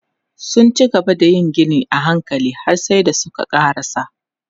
Sun cigaba da yin ginin a hankali har sai da suka ƙarasa.